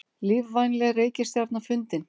Lífvænleg reikistjarna fundin